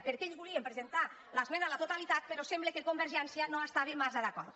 perquè ells volien presentar l’esmena a la totalitat però sembla que convergència no hi estava massa d’acord